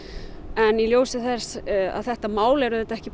en í ljósi þess að þetta mál er ekki